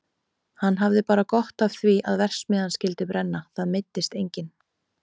Hann hafði bara gott af því að verksmiðjan skyldi brenna, það meiddist enginn.